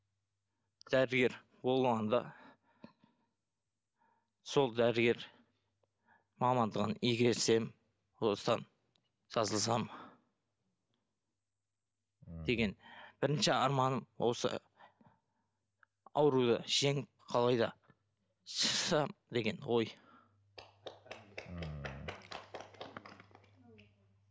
дәрігер болу болғанда сол дәрігер мамандығын игерсем осыдан жазылсам деген бірінші арманым осы ауруды жеңіп қалай да шықсам деген ой ммм